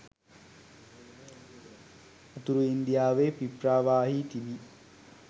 උතුරු ඉන්දියාවේ පිප්‍රාවාහි තිබි